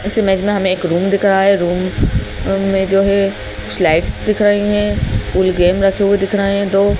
इस इमेज में हमें एक रूम दिख रहा है रूम रूम में जो है स्लाइड्स दिख रहीं हैं पुल गेम रखें हुए दिख रहें हैं दो--